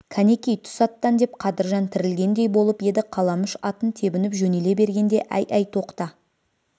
кәнекей түс аттан деп қадыржан тірілгендей болып еді қаламүш атын тебініп жөнеле бергенде әй әй тоқта